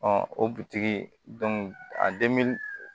o butigi a